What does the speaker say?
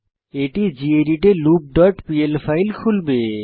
এটি গেদিত এ loop dot pl file খুলবে